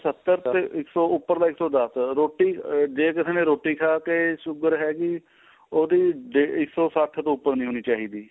ਸਤਰ ਤੇ ਇਸ ਤੋਂ ਉਪਰਲਾ ਇੱਕ ਸੋ ਦੱਸ ਰੋਟੀ ਆ ਜੇ ਕਿਸੇ ਨੇ ਰੋਟੀ ਖਾ ਕੇ sugar ਹੈਗੀ ਉਹਦੀ ਇੱਕ ਸੋ ਸੱਠ ਤੋਂ ਉਪਰ ਨਹੀਂ ਹੋਣੀ ਚਾਹੀਦੀ